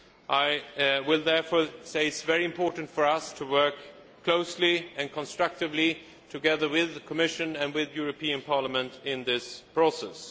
I will therefore say that it is very important for us to work closely and constructively together with the Commission and the European Parliament in this process.